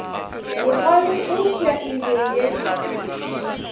bogale eupša e be ye